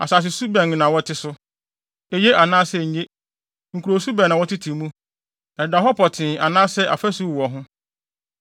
Asasesu bɛn na wɔte so? Eye anaasɛ enye? Nkurowsu bɛn na wɔtete mu? Ɛdeda hɔ petee anaasɛ afasu wowɔ ho?